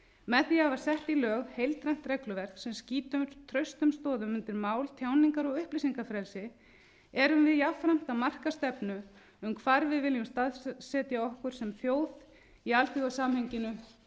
sett í lög heildrænt regluverk sem skýtur traustum stoðum undir mál tjáningar og upplýsingafrelsi erum við jafnframt að marka stefnu um hvar við viljum staðsetja okkur sem þjóð í alþjóðasamhenginu